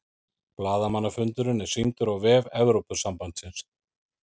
Blaðamannafundurinn er sýndur á vef Evrópusambandsins